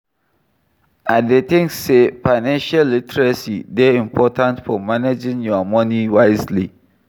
I dey think say financial literacy dey important for managing your money wisely.